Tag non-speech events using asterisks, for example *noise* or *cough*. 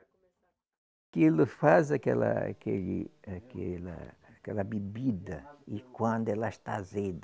*unintelligible* faz aquela aquele aquela aquela bebida e quando ela está azeda,